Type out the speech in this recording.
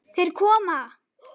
Þeir koma!